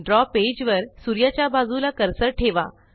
द्रव पेज वर सूर्याच्या बाजूला कर्सर ठेवा